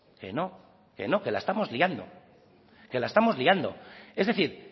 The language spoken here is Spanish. que no que no que la estamos liando que la estamos liando es decir